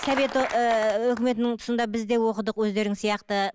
совет ііі өкіметінің тұсында бізде оқыдық өздерің сияқты